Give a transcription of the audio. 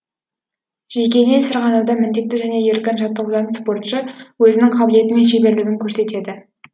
жекелей сырғанауда міндетті және еркін жаттығудан спортшы өзінің қабілеті мен шеберлігін көрсетеді